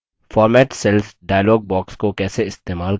format cells dialog box को कैसे इस्तेमाल करें